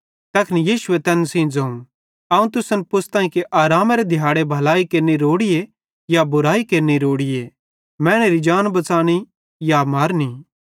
तैखन यीशु तैन सेइं ज़ोवं अवं तुसन पुछ़तां कि आरामेरे दिहाड़े भलाई केरनि रोड़ीए या बुराई केरनि रोड़ीए मैनेरी जान बच़ानी या मारनी